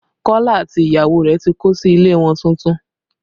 Kọ́lá àti ìyàwó rẹ̀ tí kó sí ilé wọn tuntun